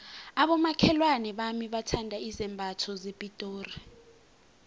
abomakhelwana bami bathanda izambatho zepitori